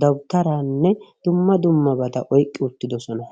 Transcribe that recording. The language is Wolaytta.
dawuttaarane dumma dummabata oyqqi uttidosona.